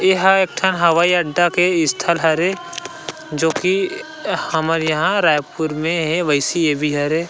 ए ह एक ठन हवाई अड्डा के स्थल हरे जो कि हमर यहाँ रायपुर में हे वैसी ए भी हरे --